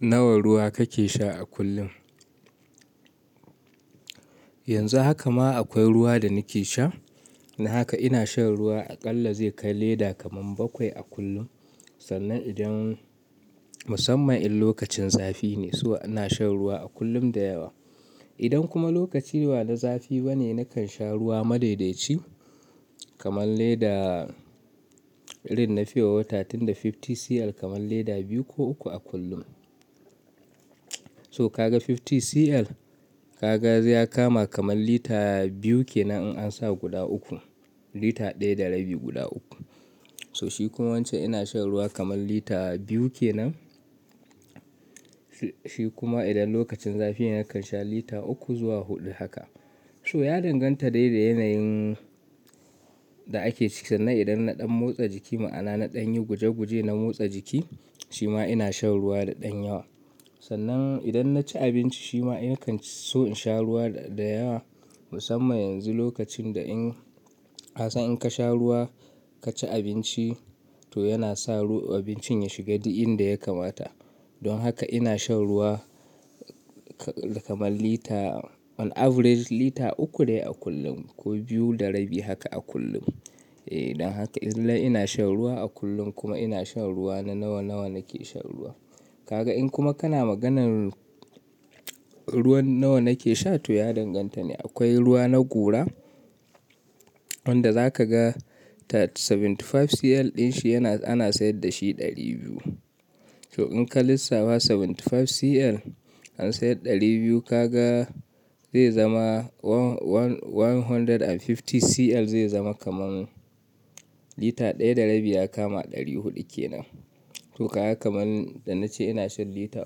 Nawa ruwa kake sha a kullum? Yanzu haka ma akwai ruwa da nake sha. Don haka ina shan ruwa aƙalla zai kai lita kamar bakwai a kullum. Sannan idan musamman in lokacin zafi ne, so ina shan ruwa a kullum da yawa. Idan kuma lokaci ba na zafi ba ne, nakan sha ruwa madaidaci kamar leda, irin na fiyo wata tunda 50cl kamar lita biyu ko uku a kullum. So ka ga 50cl ka ga zai kama kamar lita biyu ke nan in an sa guda uku, lita ɗaya da rabi guda uku. So shi kuma wance ina shan ruwa kamar lita biyu ke nan. Shi kuma idan lokacin zafi ne nakan sha lita uku zuwa huɗu haka. So ya danganta dai da yanayin da ake ciki. Sannan idan na ɗan motsa jiki ma'ana na ɗan yi guje guje na motsa jiki, shi ma ina shan ruwa da ɗan yawa. Sannan idan na ci abinci shi ma nakan so in sha ruwa da yawa. Musamman yanzu lokacin da in, ka san in ka sha ruwa ka ci abinci to yana sa abincin ya shiga duk in da ya kamata. Don haka ina shan ruwa kamar lita, on average lita uku dai a kullum ko biyu da rabi haka a kullum. Eh, don haka idan ina shan ruwa a kullum kuma ina shan ruwa na nawa nawa nake shan ruwa. Ka ga in kuma kana maganan ruwan nawa nake sha to ya danganta ne. Akwai ruwa na gora wanda za ka ga ta 75cl din shi yana, ana sayar da shi ɗari biyu. So in ka lissafa 75cl an sayar ɗari biyu ka ga zai zama one, one, one hundred and fifty cl zai zama kamar lita ɗaya da rabi ya kama ɗari huɗu ke nan. To ka ga kamar da na ce ina shan lita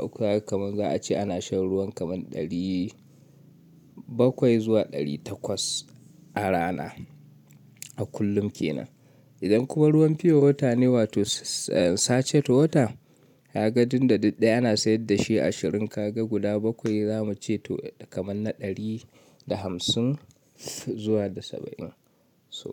uku haka kamar za a ce ana shan ruwan kamar ɗari bakwai zuwa ɗari takwas a rana, a kullum ke nan. Idan kuma ruwan fiyo wata ne wato sache to wata, ya ga dinda ɗaya ana sayar da shi ashirin ka ga guda bakwai zamu ce to kamar na ɗari da hamsin zuwa da saba'in. So.